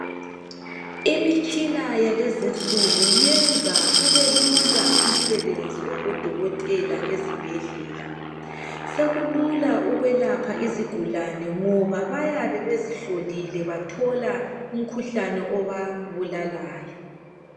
Imitshina yalezinsuku yenza kubelula umsebenzi wabodokotela ezibhedlela, sekulula ukwelapha izigulane ngoba bayabe bezihlolile bathola umkhuhlane obabulalayo.